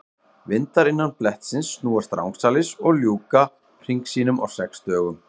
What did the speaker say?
Vindar innan blettsins snúast rangsælis og ljúka hring sínum á sex dögum.